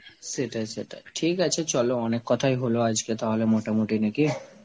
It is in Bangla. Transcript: সেটাই সেটাই, ঠিক আছে চলো অনেক কথাই হল আজকে তাহলে মোটামুটি নাকি?